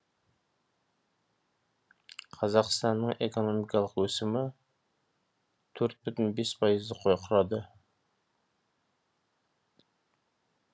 қазақстанның экономикалық өсімі төрт бүтін бес пайызды құрады